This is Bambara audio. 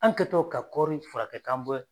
An kɛtɔ ka kɔɔri fura kɛ k'an bɛ